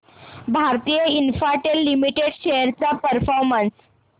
Bharti Infratel Limited shares चा performance